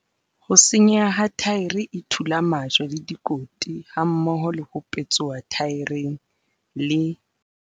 Ho senyeha ha thaere e thula majwe le dikoti hammoho le ho petsoha thaereng, le